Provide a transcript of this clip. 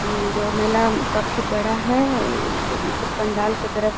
उम जो मेला काफी बड़ा है अ ऊपर में सब पंडाल के तरफ --